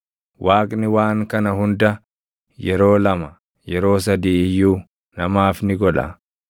“Waaqni waan kana hunda yeroo lama, yeroo sadii iyyuu namaaf ni godha.